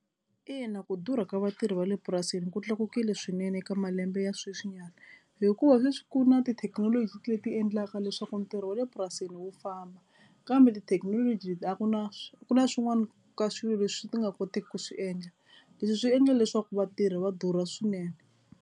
Ina, ku durha ka vatirhi va le purasini ku tlakukile swinene eka malembe ya sweswinyana hikuva sweswi ku na tithekinoloji leti endlaka leswaku ntirho wa le purasini wu famba kambe tithekinoloji a ku na ku na swin'wana ka swilo leswi ti nga kotiki ku swi endla Leswi swi endla leswaku vatirhi va durha swinene.